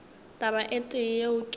taba e tee yeo ke